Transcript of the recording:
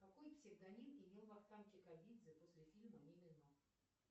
какой псевдоним имел вахтанг кикабидзе после фильма мимино